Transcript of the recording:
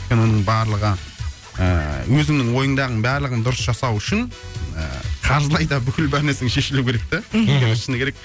өйткені оның барлығы ыыы өзіңнің ойыңдағының барлығын дұрыс жасау үшін ыыы қаржылай да бүкіл бар мәселең шешілуі керек те мхм өйткені шыны керек